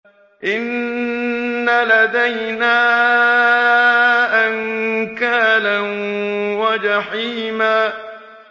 إِنَّ لَدَيْنَا أَنكَالًا وَجَحِيمًا